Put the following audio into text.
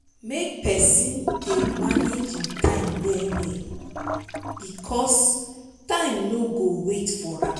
mek pesin try dey manage im time well bikos time no go wait for am